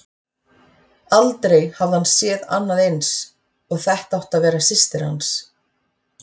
Aldrei hafði hann séð annað eins, og þetta átti að vera systir hans.